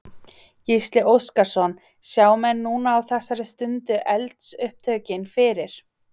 Gísli Óskarsson: Sjá menn núna á þessari stundu eldsupptökin fyrir?